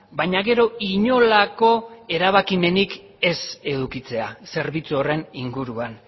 baina gero inolako erabakimenik ez edukitzea zerbitzu horren inguruan